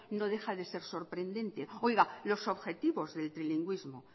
no deja de ser sorprendente oiga los objetivos del trilingüismo